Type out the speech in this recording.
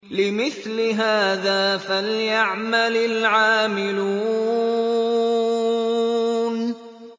لِمِثْلِ هَٰذَا فَلْيَعْمَلِ الْعَامِلُونَ